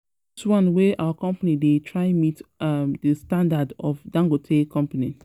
This one wey our company dey try meet um the standard of um Dangote um company